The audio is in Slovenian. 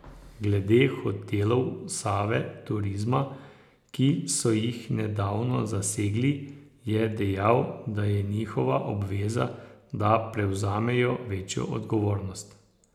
Glede hotelov Save Turizma, ki so jih nedavno zasegli, je dejal, da je njihova obveza, da prevzamejo večjo odgovornost.